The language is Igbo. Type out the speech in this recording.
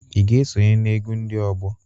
I ga esonye na-egwu ndị ọgbọ?